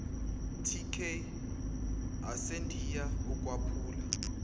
tk asendiya ukwaphula